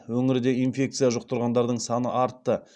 өңірде инфекция жұқтырғандардың саны артты